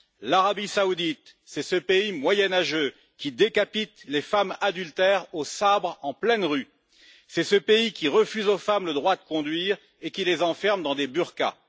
L'Arabie saoudite, c'est ce pays moyenâgeux qui décapite les femmes adultères au sabre en pleine rue, c'est ce pays qui refuse aux femmes le droit de conduire et qui les enferme dans des burqas.